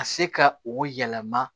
Ka se ka o yɛlɛma